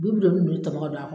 Bi b doni nunnu tɔmɔ ka don a kɔnɔ